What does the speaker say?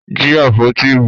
Jí àpótí ìbò!